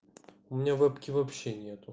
у меня вэбки вообще нету